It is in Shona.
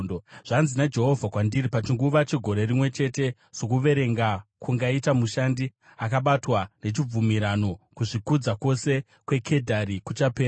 Zvanzi naJehovha kwandiri: “Pachinguva chegore rimwe chete, sokuverenga kungaita mushandi akabatwa nechibvumirano, kuzvikudza kwose kweKedhari kuchapera.